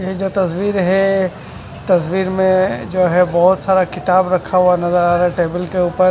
ये जो तस्वीर है तस्वीर में जो है बहोत सारा किताब रखा हुआ नजर आ रहा है टेबल के ऊपर--